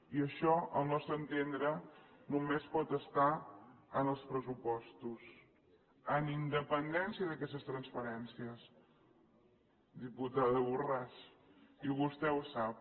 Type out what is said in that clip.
i això al nostre entendre només pot estar en els pressupostos amb independència d’aquestes transferències diputada borràs i vostè ho sap